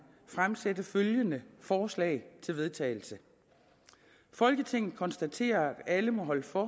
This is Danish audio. fremsætte følgende forslag til vedtagelse folketinget konstaterer at alle må holde for